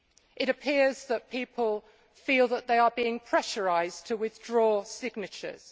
It appears that people feel that they are being pressurised to withdraw signatures.